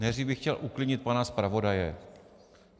Nejdřív bych chtěl uklidnit pana zpravodaje.